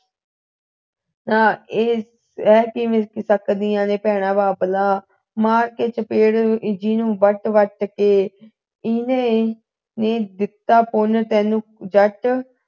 ਤਾਂ ਇਹ ਸਹ ਕਿਵੇਂ ਸਕਦੀਆਂ ਨੇ ਭੈਣਾਂ ਬਾਬਲਾ ਮਾਰ ਕੇ ਚਪੇੜਾਂ ਜੀ ਨੂੰ ਵੱਟ ਵੱਟ ਕੇ ਇਨਹੀ ਹੀ ਦਿੱਤਾ ਤੈਨੂੰ ਜੱਟ